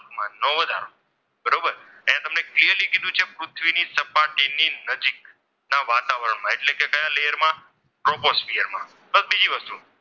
ની નજીક ના વાતાવરણમાં એટલે કે નજીકના લેયરમાં ટ્રોપોસ્ફિયરમાં બીજી વસ્તુ,